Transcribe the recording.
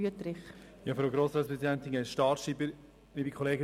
Wüthrich spricht für die SP-JUSO-PSA-Fraktion.